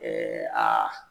Ɛɛ aa